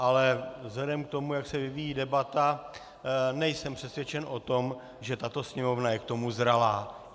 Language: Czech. Ale vzhledem k tomu, jak se vyvíjí debata, nejsem přesvědčen o tom, že tato Sněmovna je k tomu zralá.